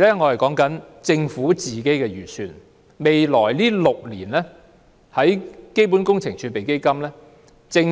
按照政府的預算，基本工程儲備基金未來6年將